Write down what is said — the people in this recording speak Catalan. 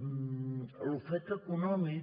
l’ofec econòmic